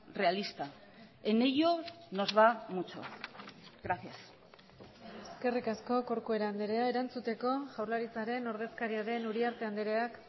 realista en ello nos va mucho gracias eskerrik asko corcuera andrea erantzuteko jaurlaritzaren ordezkaria den uriarte andreak